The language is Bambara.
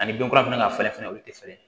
Ani binkura fana ka falen fɛnɛ olu te falen